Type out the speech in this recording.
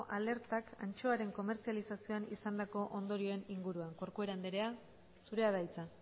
alertak antxoaren komertzializazioan izandako ondorioen inguruan corcuera andrea zurea da hitza